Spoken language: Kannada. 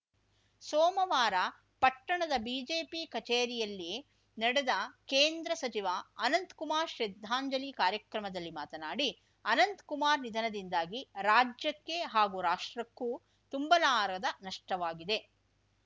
ಸೋಮವಾರ ಪಟ್ಟಣದ ಬಿಜೆಪಿ ಕಚೇರಿಯಲ್ಲಿ ನಡೆದ ಕೇಂದ್ರ ಸಚಿವ ಅನಂತ್‌ಕುಮಾರ್‌ ಶ್ರದ್ಧಾಂಜಲಿ ಕಾರ್ಯಕ್ರಮದಲ್ಲಿ ಮಾತನಾಡಿ ಅನಂತ್‌ಕುಮಾರ್‌ ನಿಧನದಿಂದಾಗಿ ರಾಜ್ಯಕ್ಕೆ ಹಾಗೂ ರಾಷ್ಟ್ರಕ್ಕೂ ತುಂಬಲಾರದ ನಷ್ಟವಾಗಿದೆ